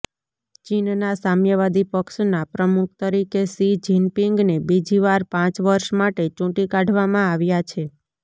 ચીનના સામ્યાવાદી પક્ષના પ્રમુખ તરીકે શી જિનપિંગને બીજીવાર પાંચ વર્ષ માટે ચૂંટી કાઢવામાં આવ્યા છે